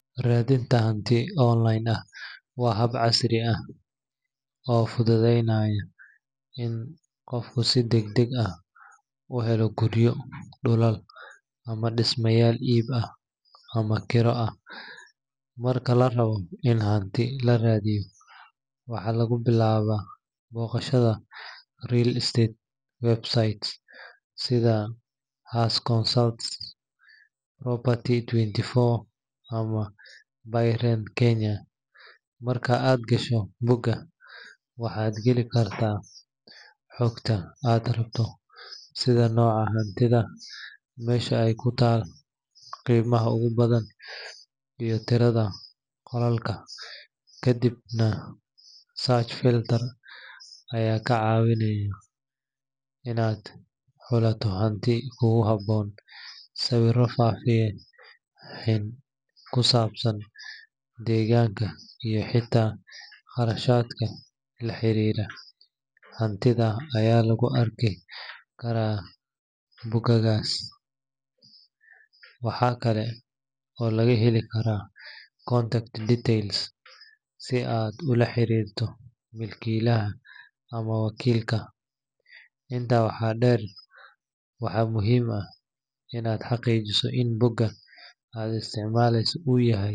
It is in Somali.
Radinta hanti waa hab casri ah, waa mid habeenaya helinta guryo ama disma iib ah ama kira ah, marka larabo in laradiyo waa in labilaawa booqasha, marka aad gasho boga waxaad kaheli karta habka hantida iyo qolalka, kadibna ayaa kaa cawinaya inaad xulato hanti kugu haboon, deeganka iyo qarashadka, hantida ayaa lagu arki karaa, si aad oola xariirto hantiilaha, waa inaad xaqiijiso in boga aad isticmaleyso inuu yahay.